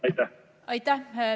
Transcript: Aitäh!